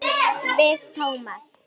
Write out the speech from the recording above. Við Tómas.